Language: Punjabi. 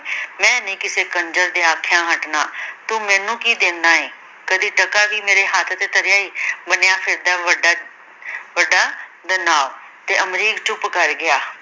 ਮੈ ਨੀ ਕਿਸੇ ਕੰਜਰ ਦੇ ਆਖਿਆਂ ਹੱਟਣਾ ਤੂੰ ਮੈਨੂੰ ਕੀ ਦੇਨਾ ਏ ਕਦੇ ਟਕਾ ਵੀ ਮੇਰੇ ਹੱਥ ਤੇ ਧਰਿਆ ਏ ਬਣਿਆ ਫਿਰਦਾ ਏ ਵੱਡਾ ਵੱਡਾ ਦਨਾਵ ਤੇ ਅਮਰੀਕ ਚੁੱਪ ਕਰ ਗਿਆ।